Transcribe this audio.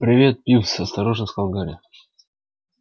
привет пивз осторожно сказал гарри